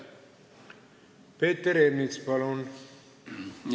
Peeter Ernits, palun!